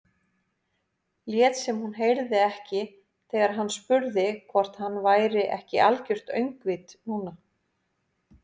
Lét sem hún heyrði ekki þegar hann spurði hvort hann væri ekki algert öngvit núna.